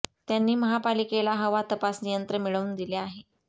त्यांनी महापालिकेला हवा तपासणी यंत्र मिळवून दिले होते